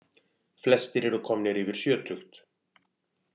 Flestir eru komnir yfir sjötugt